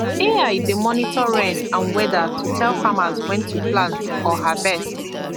ai dey monitor rain and weather to tell farmers when to plant or harvest